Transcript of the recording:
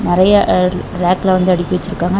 நெறைய ராக்ல வந்து அடுக்கி வச்சிருக்காங்க.